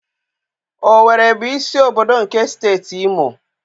Owere bụ isi obodo nke Steeti Imo.